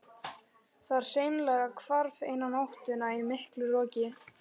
Það hreinlega hvarf eina nóttina í miklu roki.